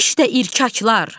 İşdə irkaklar.